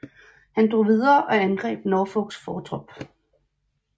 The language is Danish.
Han drog videre og angreb Norfolks fortrop